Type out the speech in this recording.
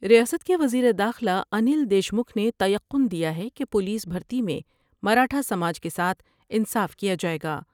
ریاست کے وزیر داخلہ انیل دیشمکھ نے تیقن دیا ہے کہ پولس بھرتی میں مراٹھا سا ج کے ساتھ انصاف کیا جاۓ گا ۔